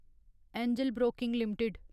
angel Broking limited